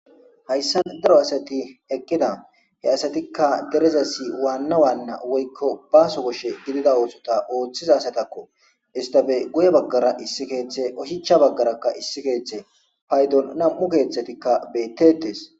Hayssa daro asati eqqida. He asatikka derezasi waanna waanna woykko baaso koshe gidida oosota ooththiza asatakko. estappe guye baggara issi keeththe oshicha baggarakka issi keeththe paydon nam7u keeththatikka beetteetes.